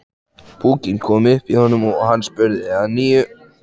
Púkinn kom upp í honum og hann spurði að nýju.